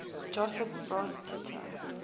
josip broz tito